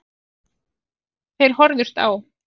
Þeir horfðust á.